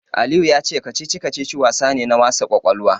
Aliyu ya ce kacici-kacici wasa ne na wasa ƙwaƙwalwa.